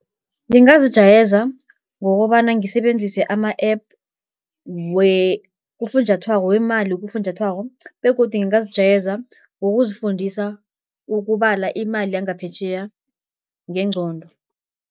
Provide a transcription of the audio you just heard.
Ngingazijayeza ngokobana ngisebenzise ama-app kufunjathwako wemali kufunjathwako begodu ngingazijayeza ngokuzifundisa ukubala imali yangaphetjheya ngengcondo.